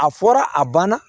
A fɔra a banna